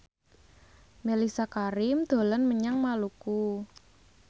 Mellisa Karim dolan menyang Maluku